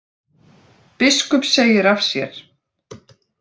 Biskup segir af sér